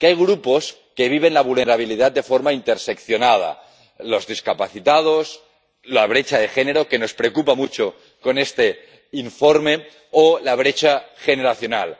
que hay grupos que viven la vulnerabilidad de forma interseccionada los discapacitados, la brecha de género —que nos preocupa mucho en este informe— o la brecha generacional.